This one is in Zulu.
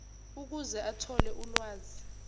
ukuze athole ulwazi